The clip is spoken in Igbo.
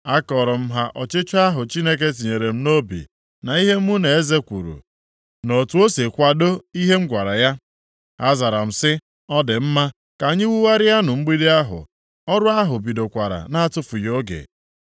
Akọọrọ m ha ọchịchọ ahụ Chineke tinyere m nʼobi na ihe mụ na eze kwuru, na otu o si kwadoo ihe m gwara ya. Ha zara m sị, “Ọ dị mma, ka anyị wugharịanụ mgbidi ahụ.” Ọrụ ahụ bidokwara na-atụfughị oge.